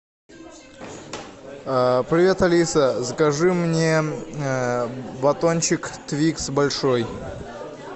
привет алиса закажи мне батончик твикс большой